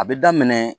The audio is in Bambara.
A bɛ daminɛ